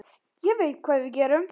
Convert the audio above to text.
Ég veit hvað við gerum!